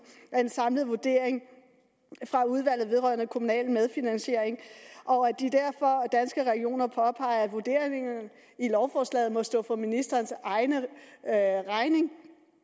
af den samlede vurdering fra udvalget vedrørende kommunal medfinansiering og at danske regioner derfor påpeger at vurderingen i lovforslaget må stå for ministerens egen regning